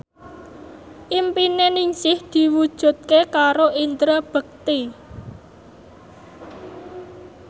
impine Ningsih diwujudke karo Indra Bekti